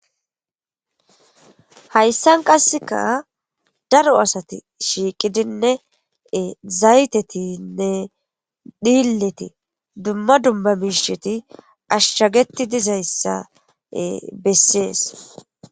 Hayssan qasseka daro asati shiiqidinnee zaytetinne dhiilleti dumma dumma miisheti ashshageti dizayssa bessees.